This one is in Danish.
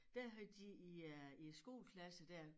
Der havde de i øh i æ skoleklasse dér